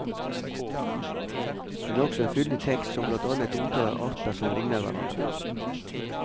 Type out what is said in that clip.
Den har også en fyldig tekst som blant annet omtaler arter som ligner hverandre.